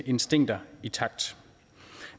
instinkter intakt